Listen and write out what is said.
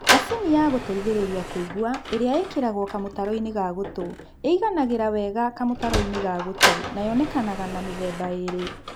Macini ya gũteithĩrĩria kũigua ĩrĩa ĩkĩragwo kamũtaro-inĩ ga gũtũ ĩiganagĩra wega kamũtaro-inĩ ga gũtũ na yonekaga na mĩthemba ĩrĩ